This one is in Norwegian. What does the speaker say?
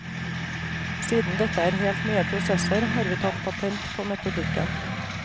Siden dette er helt nye prosesser, har vi tatt patent på metodikken.